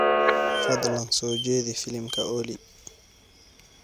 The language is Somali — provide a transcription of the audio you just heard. fadlan soo jeedi filimka olly